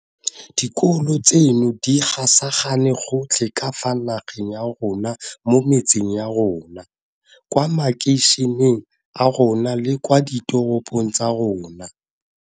Dikolo tseno di gasagane gotlhe ka fa nageng ya rona mo metseng ya rona, kwa makeišeneng a rona le kwa diteropong tsa rona.